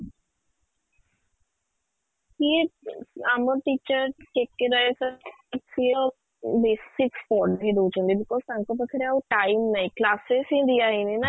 ସିଏ ଆମ teacher ଯେତେବେଳେ ତ basics ପଢ଼େଇ ଦଉଛନ୍ତି because ତାଙ୍କ ପାଖରେ ଆଉ time ନାହିଁ classes ହିଁ ଦିଅ ହେଇନି ନା